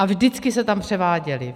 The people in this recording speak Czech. A vždycky se tam převáděly.